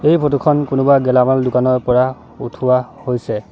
এই ফটো খন কোনোবা গেলেমাল দোকানৰ পৰা উঠোৱা হৈছে।